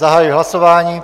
Zahajuji hlasování.